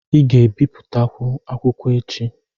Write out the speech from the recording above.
Ị ga-ebipụtakwu akwụkwọ echi.